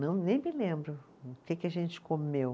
Não, nem me lembro o que que a gente comeu.